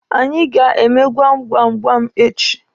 Anyị ga-eme gwam gwam gwam echi.